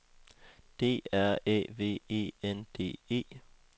D R Æ V E N D E